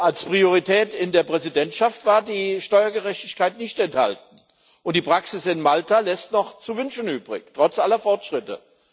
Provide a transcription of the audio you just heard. Als Priorität in der Präsidentschaft war die Steuergerechtigkeit nicht enthalten, und die Praxis in Malta lässt noch zu wünschen übrig trotz aller Fortschritte.